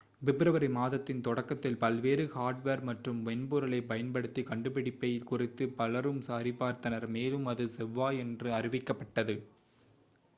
பிப்ரவரி மாதத்தின் தொடக்கத்தில் பல்வேறு ஹார்ட்வேர் மற்றும் மென்பொருளைப் பயன்படுத்தி கண்டுபிடிப்பைக் குறித்து பலரும் சரிபார்த்தனர் மேலும் அது செவ்வாயன்று அறிவிக்கப்பட்டது